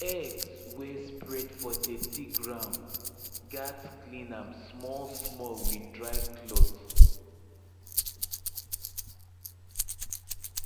eggs wey spread for dirty ground gats clean am smallsmall with dry cloth